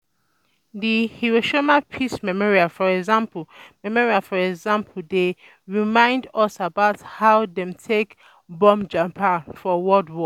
Di Hiroshima Peace Memorial for example Memorial for example dey um remind um us about how dem take bomb Japan for World War